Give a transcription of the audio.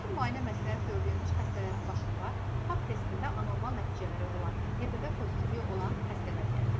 Rutin müayinə məsləhət gördüyümüz xəstələrin başında Pap testində anormal nəticələri olan, HPV pozitiv olan xəstələr gəlir.